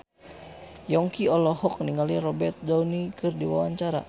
Yongki olohok ningali Robert Downey keur diwawancara